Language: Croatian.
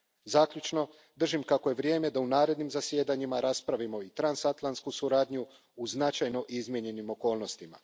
Zaključno, držim kako je vrijeme da u narednim zasjedanjima raspravimo i transatlantsku suradnju u značajno izmijenjenim okolnostima.